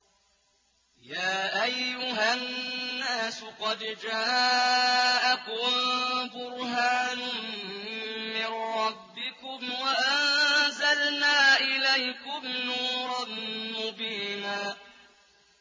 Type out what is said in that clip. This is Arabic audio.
يَا أَيُّهَا النَّاسُ قَدْ جَاءَكُم بُرْهَانٌ مِّن رَّبِّكُمْ وَأَنزَلْنَا إِلَيْكُمْ نُورًا مُّبِينًا